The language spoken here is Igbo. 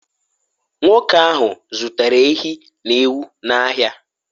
nwoke ahụ zụtara ehi na ewu n’ahịa